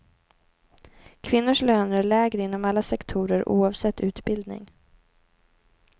Kvinnors löner är lägre inom alla sektorer oavsett utbildning.